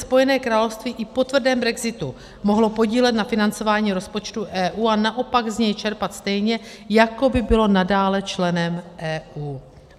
Spojené království i po tvrdém brexitu mohlo podílet na financování rozpočtu EU a naopak z něj čerpat stejně, jako by bylo nadále členem EU.